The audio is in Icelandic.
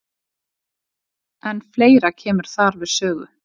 En fleira kemur þar við sögu.